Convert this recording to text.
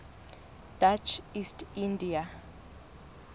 dutch east india